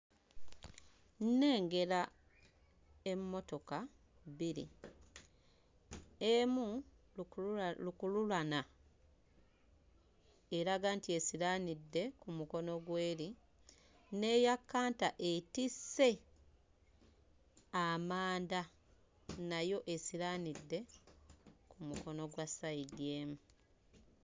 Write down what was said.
Nnengera emmotoka bbiri, emu lukulula lukululana eraga nti esiraanidde ku mukono gw'eri n'eya kkanta etisse amanda nayo esiraanidde ku mukono gwa sayidi emu.